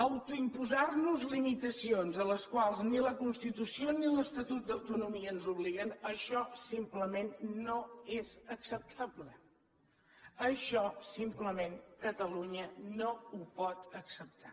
autoimposar nos limitacions a les quals ni la constitució ni l’estatut d’autonomia ens obliguen això simplement no és acceptable això simplement catalunya no ho pot acceptar